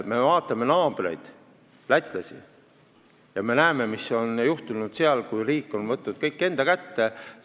Me vaatame naabreid lätlasi ja me näeme, mis on seal juhtunud pärast seda, kui riik on kõik enda kätte võtnud.